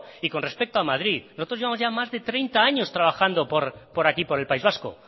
y con respeto a madrid nosotros llevamos ya más de treinta años trabajando por aquí por el país vasco